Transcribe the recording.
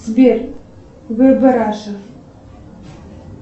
сбер вб раша